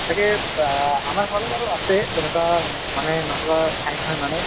চাগে আমাৰ ফালেও বাৰু আছে তেনেকুৱা মানে নথকা ঠাই নহয় মানে